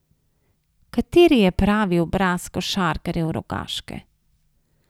Kateri je pravi obraz košarkarjev Rogaške?